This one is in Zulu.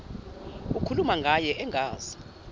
ukhuluma ngaye engazi